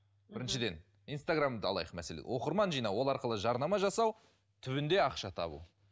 біріншіден инстаграмды алайық мәселе оқырман жинау ол арқылы жарнама жасау түбінде ақша табу